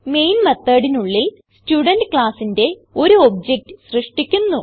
main methodനുള്ളിൽ student classന്റെ ഒരു ഒബ്ജക്ട് സൃഷ്ടിക്കുന്നു